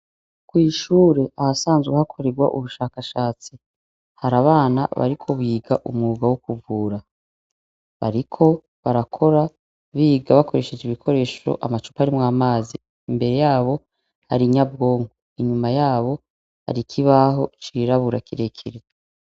Kw’ishure ahasanzwe hakorerwa ubushakashatsi, harabana bariko biga umwuga wo kuvura. Bariko barakora, biga bakoresheje ibikoresho amacuparimw’amazi, imbere yabo har’inyabwonko, inyuma yabo, har’ikibaho cirabura kirekire.